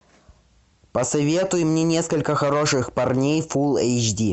посоветуй мне несколько хороших парней фул эйч ди